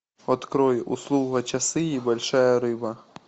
открой услуга часы и большая рыба